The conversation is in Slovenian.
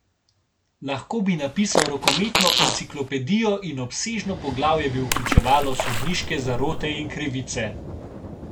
Lahko bi napisal rokometno enciklopedijo in obsežno poglavje bi vključevalo sodniške zarote in krivice.